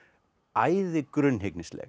æði